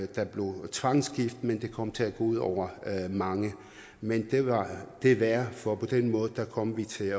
der blev tvangsgift men det kom til at gå ud over mange men det var det værd for på den måde kom vi til